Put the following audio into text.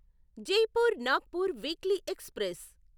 Jaipur Nagpur weekly express